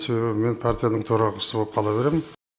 себебі мен партияның төрағасы болып қала беремін